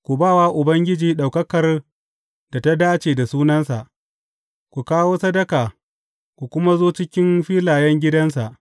Ku ba wa Ubangiji ɗaukakar da ta dace da sunansa; ku kawo sadaka ku kuma zo cikin filayen gidansa.